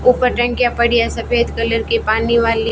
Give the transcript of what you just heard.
ऊपर टंकियां पड़ी है सफेद कलर की पानी वाली--